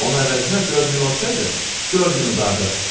Onun əvəzinə 4000 olsaydı, 4000 udardıq.